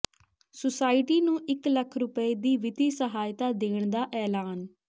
society ਨੂੰ ਇਕ ਲੱਖ ਰੁਪਏ ਦੀ ਵਿੱਤੀ ਸਹਾਇਤਾ ਦੇਣ ਦਾ ਐਲਾਨ